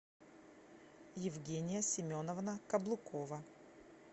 евгения семеновна каблукова